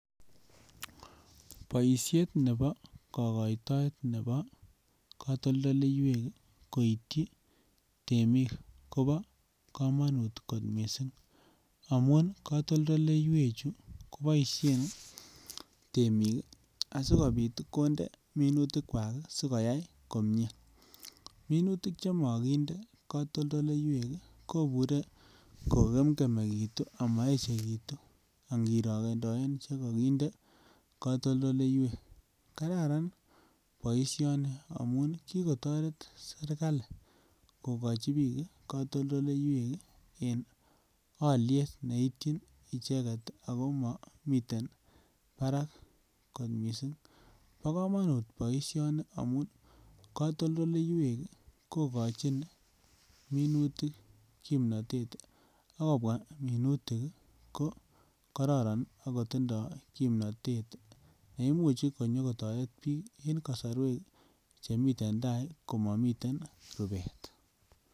Boishet nebo kokoitoet nebo kotoldoleiwek koityi temik Kobo komonut kot missing amun kotoldoleiwek chuu koboishen temik kii asikopit konde minutik kwak kii asikoyai komie. Minutik chemokinde kotoldoleiwek kobure kogemgemekitu amoyechekitu inkirokendoe chekokinde kotoldoleiwek kararan boishoni amun kikotoret serikalit kokochi bik kotoldoiwek en oliet neityin icheket ako momiten barak kot missing. Bo komonut boishoni amun kotoldoleiwek kokochi minutik kipnotet ak kobwa minutik kii ko kororon ak kotindoi kipnotet neimuchi konyokotore bik en kosorwek chemiten tai komomiten rupet.